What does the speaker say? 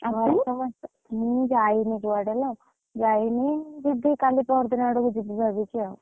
ମୁଁ ଯାଇନି କୁଆଡେ ଲୋ, ଯାଇନି ଯିବି କାଲି ପରଦିନ ଆଡକୁ ଯିବି ଭାବିଛି ଆଉ।